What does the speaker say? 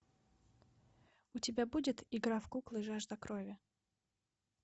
у тебя будет игра в куклы жажда крови